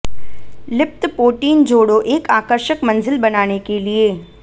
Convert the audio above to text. लिप्त पोटीन जोड़ों एक आकर्षक मंजिल बनाने के लिए